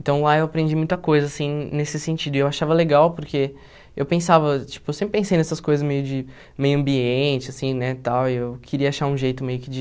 Então, lá eu aprendi muita coisa, assim, nesse sentido, e eu achava legal porque eu pensava, tipo, eu sempre pensei nessas coisas meio de meio ambiente, assim, né, tal, e eu queria achar um jeito meio que de